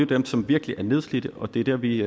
dem som virkelig er nedslidte og det er der vi